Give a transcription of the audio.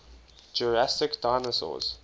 jurassic dinosaurs